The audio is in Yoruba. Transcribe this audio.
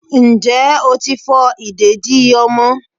njẹ otí fo ìdédi ọmọ